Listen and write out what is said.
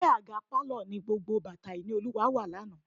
Abẹ́ àga pálọ̀ ni gbogbo bàtà Ìníolúwa wà lánàá.